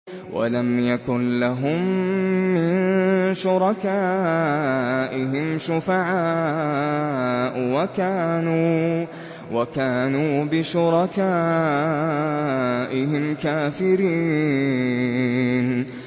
وَلَمْ يَكُن لَّهُم مِّن شُرَكَائِهِمْ شُفَعَاءُ وَكَانُوا بِشُرَكَائِهِمْ كَافِرِينَ